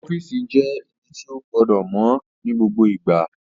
Ọ́fìsì jẹ́ ibi tí ó gbọdọ̀ mọ́ ní gbogbo ìgbà